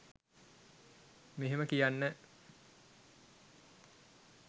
මෙහෙම කියන්න